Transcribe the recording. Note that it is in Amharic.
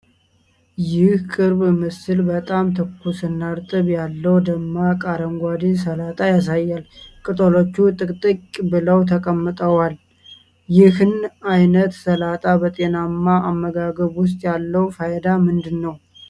ይህ ቅርብ ምስል በጣም ትኩስና እርጥበት ያለው፣ ደማቅ አረንጓዴ ሰላጣ ያሳያል። ቅጠሎቹ ጥቅጥቅ ብለው ተቀምጠዋል። ይህን ዓይነት ሰላጣ በጤናማ አመጋገብ ውስጥ ያለው ፋይዳ ምንድነው?